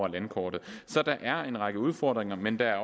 landkortet så der er en række udfordringer men der